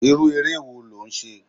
Irú eré wo lò ń ṣe?